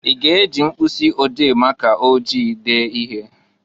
I ga-e ji mpkụsị ode maka ojii dee ihe?